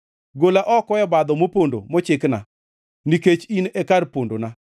Gola oko e obadho mopondo mochikna nikech in e kar pondona.